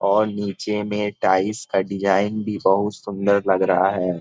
और नीचे में टाइल्स का डिजाईन भी बहुत सुंदर लग रहा है।